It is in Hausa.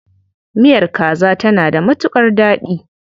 Miyar kaza tana da matuƙar daɗi.